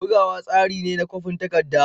Bugawa tsari ne na kwafin takarda.